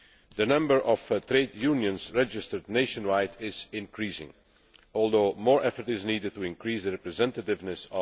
The number of trade unions registered nationwide is increasing, although more effort is needed to increase their representativeness.